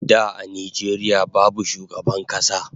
Da a Nijeria babu shugaban kasa